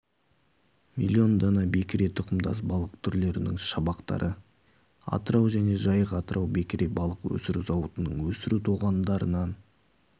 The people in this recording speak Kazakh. млн дана бекіре тұқымдас балық түрлерінің шабақтары атырау және жайық-атырау бекіре балық өсіру зауытының өсіру тоғандарынан